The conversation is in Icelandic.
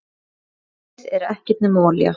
Plastið er ekkert nema olía.